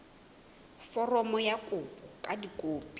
foromo ya kopo ka dikopi